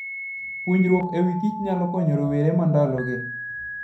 Puonjruok e wi kich nyalo konyo rowere mandalogi.